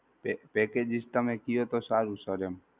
packages તમે કયો તો સારું sir એમ.